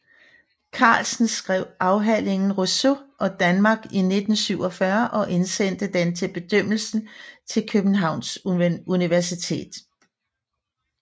Carlsen skrev afhandlingen Rousseau og Danmark i 1947 og indsendte den til bedømmelse til Københavns Universitet